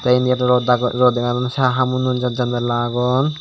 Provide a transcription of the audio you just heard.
te indi rod rod dega jadon se hamunot janala agon.